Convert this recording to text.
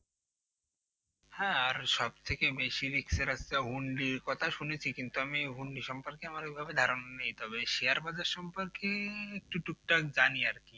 হ্যাঁ আর সব থেকে বেশি risk এর আছে hundi কথা শুনেছি কিন্তু hundi সম্পর্কে এরকম ধারণা নেই তবে share bazar সম্পর্কে একটুও টুকটাক জানি আর কি